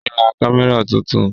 Ó ra kámẹ́rà tuntun